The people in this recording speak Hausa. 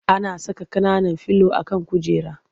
Ana saka ƙananan filo a kan kujera.